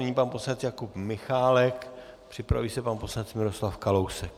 Nyní pan poslanec Jakub Michálek, připraví se pan poslanec Miroslav Kalousek.